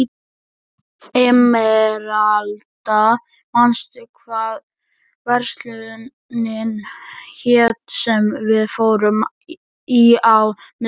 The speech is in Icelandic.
Emeralda, manstu hvað verslunin hét sem við fórum í á miðvikudaginn?